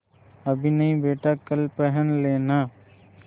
अभी नहीं बेटा कल पहन लेना